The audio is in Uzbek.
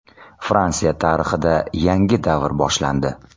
Fransiya tarixida yangi davr boshlandi.